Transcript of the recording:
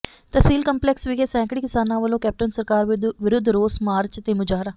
ਤਹਿਸੀਲ complex ਵਿਖੇ ਸੈਂਕੜੇ ਕਿਸਾਨਾਂ ਵਲੋਂ ਕੈਪਟਨ ਸਰਕਾਰ ਵਿਰੁੱਧ ਰੋਸ ਮਾਰਚ ਤੇ ਮੁਜ਼ਾਹਰਾ